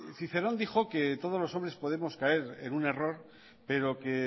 cicerón dijo que todos los hombres podemos caer en un error pero que